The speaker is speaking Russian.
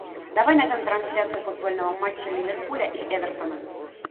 давай найдем трансляцию футбольного матча ливерпуля и эвертона